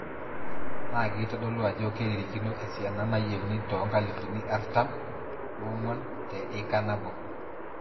Naa keitodolu ajo keiririkino esiana nayieuni oo nkalifuni artam oong'wan te ika nabo.